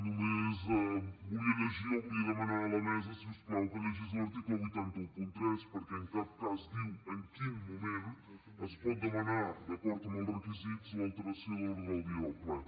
només volia llegir o volia demanar a la mesa si us plau que llegís l’article vuit cents i tretze perquè en cap cas diu en quin moment es pot demanar d’acord amb els requisits l’alteració de l’ordre del dia del ple